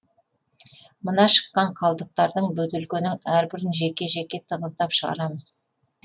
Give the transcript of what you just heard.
мына шыққан қалдықтардың бөтелкенің әрбірін жеке жеке тығыздап шығарамыз